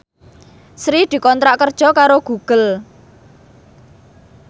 Sri dikontrak kerja karo Google